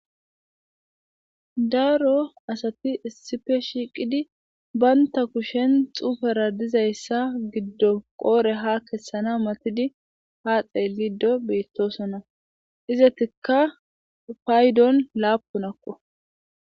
daaro asati issife shiiqidi baynta kushen xufera dizayssa giddo qoore ha kessana matidi ha xeellido beettosonna izetikka faydon laapunakko